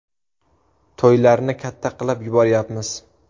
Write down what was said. To‘ylarni katta qilib yuboryapmiz.